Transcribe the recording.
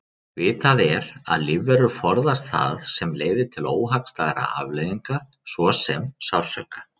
Vitað er að lífverur forðast það sem leiðir til óhagstæðra afleiðinga svo sem sársauka.